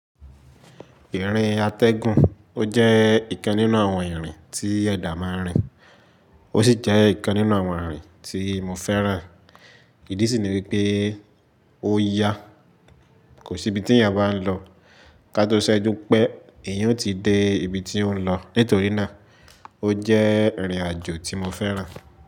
Ìrìn atẹgun ó jẹ́ ìkan nínú àwọn ìrìn tí ẹ̀dà máa ń rìn, ó sì jẹ ìkan nínú àwọn ìrìn tí mo fẹ́ràn. Ìdí sì ni wípé ó yà, kò sí ibi tí èèyàn bá ń lọ, ká tó ṣẹ́jú pé èèyàn ó ti dé ibi tí ó ń lọ. Nítorí náà ó jẹ́ ìrìn àjò tí mo fẹ́ràn.